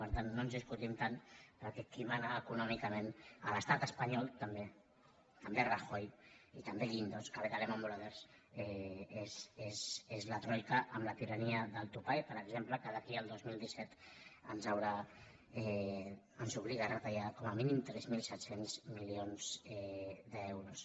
per tant no ens discu·tim tant perquè qui mana econòmicament a l’estat es·panyol també també és rajoy i també guindos que ve de lehman brothers és la troica amb la tirania del topall per exemple que d’aquí al dos mil disset ens obliga a retallar com a mínim tres mil set cents milions d’euros